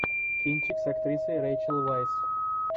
кинчик с актрисой рэйчел вайс